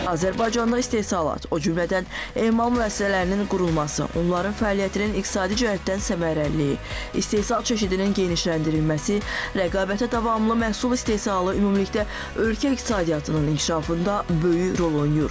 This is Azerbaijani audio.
Azərbaycanda istehsalat, o cümlədən emal müəssisələrinin qurulması, onların fəaliyyətinin iqtisadi cəhətdən səmərəliliyi, istehsal çeşidinin genişləndirilməsi, rəqabətə davamlı məhsul istehsalı ümumilikdə ölkə iqtisadiyyatının inkişafında böyük rol oynayır.